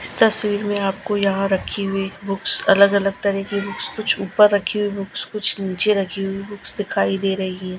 इस तस्वीर में आपको यहां रखी हुई बुक्स अलग अलग तरह की बुक्स कुछ ऊपर रखी हुई बुक्स कुछ नीचे रखी हुई बुक्स दिखाई दे रही है।